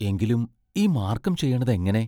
എങ്കിലും ഈ മാർക്കം ചെയ്യണതെങ്ങനെ?